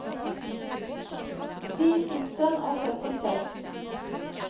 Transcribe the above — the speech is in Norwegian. ti tusen og syttiseks